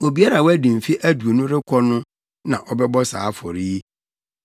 Obiara a wadi mfe aduonu rekɔ no na ɔbɛbɔ saa afɔre yi.